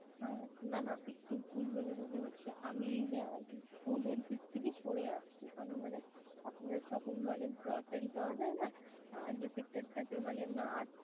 আহ না না একটু ভুল বুঝাবুঝি হচ্ছে. আমি i think food এর দিক থেকে সরে আসছি. আমি মানে আপনাদের shopping mall এ grocery পাওয়া যায় না যে sector টাতে মানে